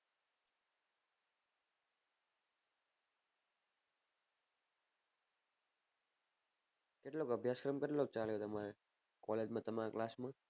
કેટલો અભ્યાસ ક્રમ કેટલો ચલ્યો તમારે college માં તમાર class માં